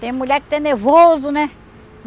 Tem mulher que tem nervoso, né?